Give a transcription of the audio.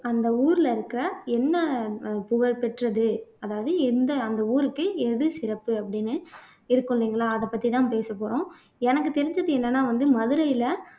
அந்த ஊர்ல இருக்க என்ன அஹ் புகழ்பெற்றது அதாவது எந்த அந்த ஊருக்கு எது சிறப்பு அப்படின்னு இருக்கும் இல்லைங்களா அதைப் பத்திதான் பேசப்போறோம் எனக்கு தெரிஞ்சது என்னன்னா வந்து மதுரையில